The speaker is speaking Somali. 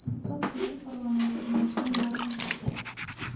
Dadku safar wanaagsan ma soo mareen?